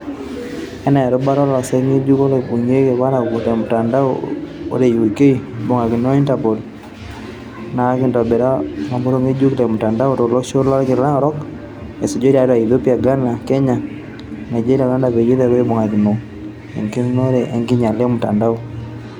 Enaa erubata olosek ngejuk loibung'iaki ilapurok le mutandao, ore UK ibungakino o INTERPOL, naakitobirita olngobor ngejuk le mutandao tolosho lolkila orok esisho tiatua Ethiopia, Ghana, Kenya, Nigeria o Rwanda peyie eretu ibungakino egilunore enkinyiala e mutandao.